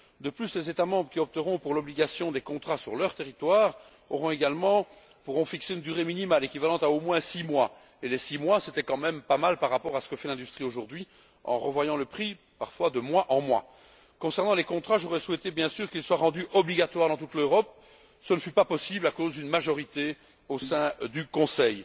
De plus, les États membres qui opteront pour l'obligation des contrats sur leur territoire pourront fixer une durée minimale équivalente à au moins six mois, et six mois ce n'est quand même pas mal par rapport à ce que fait l'industrie aujourd'hui en revoyant le prix parfois de mois en mois. Concernant les contrats, j'aurais souhaité, bien sûr, qu'ils soient rendus obligatoires dans toute l'Europe. Cela n'a pas été possible à cause d'une majorité au sein du Conseil